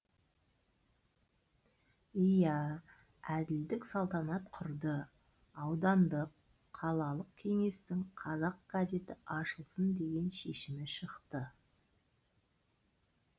иә әділдік салтанат құрды аудандық қалалық кеңестің қазақ газеті ашылсын деген шешімі шықты